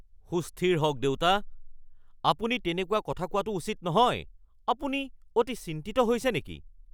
সুস্থিৰ হওক দেউতা। আপুনি তেনেকুৱা কথা কোৱাটো উচিত নহয়। আপুনি অতি চিন্তিত হৈছে নেকি? (পুত্ৰ)